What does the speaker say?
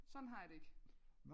Sådan har jeg det ikke